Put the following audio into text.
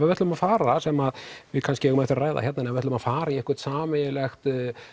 við ætlum að fara sem að við kannski eigum eftir að ræða hérna en við ætlum að fara í einhvert sameiginlegt